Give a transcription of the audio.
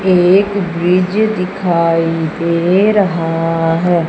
एक ब्रिज दिखाई दे रहा हैं।